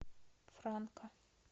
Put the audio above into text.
франка